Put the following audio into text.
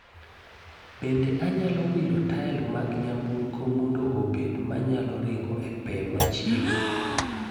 Bende anyalo wilo tael mag nyamburko mondo obed manyalo ringo e pee machiegni